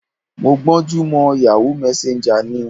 Mo gbọ́n jú mọ Yahoo Messenger ni.